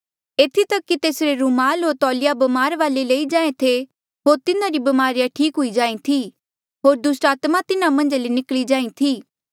एथी तक कि तेसरे रुमाल होर तौलिया ब्मारा वाले लई जाहें थे होर तिन्हारी ब्मारिया ठीक हुई जाहीं थी होर दुस्टात्मा तिन्हा मन्झा ले निकली जाहीं थी